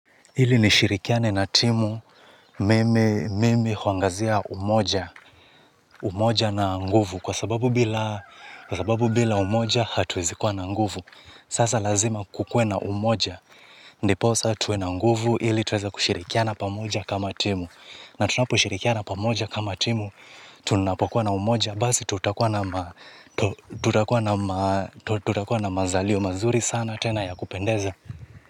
Ili nishirikiane na timu mimi mimi huangazia umoja umoja na nguvu kwa sababu kwa sababu bila umoja hatuwezikua na nguvu. Sasa lazima kukue na umoja ndiposa tuwe na nguvu ili tuweza kushirikiana pamoja kama timu. Na tunaposhirikiana pamoja kama timu tunapokuwa na umoja basi tutakuwa na tutakua na mazalio mazuri sana tena ya kupendeza.